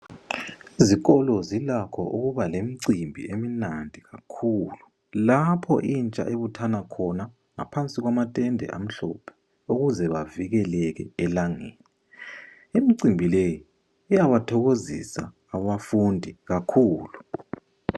Izikolo zilakho ukubalemcimbi emnandi kakhulu lapho itsha ebuthana khona ngaphansi kwamatende amhlophe okuze bavikeleka elangeni. Imcimbi le iyabathokozisa ababafundi kakhulu.